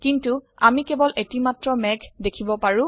কিন্তু আমি কেবল এটিমাত্ৰ মেঘ দেখিব পাৰো